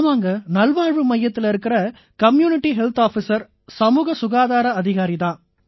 ஆமாங்க நல்வாழ்வு மையத்தில இருக்கற கம்யூனிட்டி ஹெல்த் ஆஃபிசர் சமூக சுகாதார அதிகாரி தான்